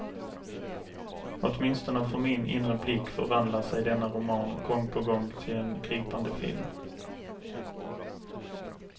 Åtminstone för min inre blick förvandlar sig denna roman gång på gång till en gripande film.